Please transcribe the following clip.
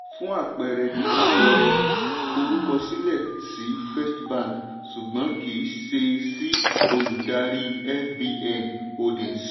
fún àpẹẹrẹ àpẹẹrẹ forúkọsílẹ̀ sí first bank ṣùgbọ́n kì í ṣe sí olùdarí fbn holdings.